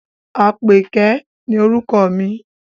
Àpèké ni orúkọ mi.